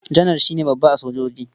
Janar shi ne babba a sojoji.